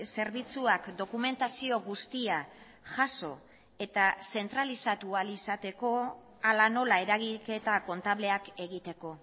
zerbitzuak dokumentazio guztia jaso eta zentralizatu ahal izateko hala nola eragiketa kontableak egiteko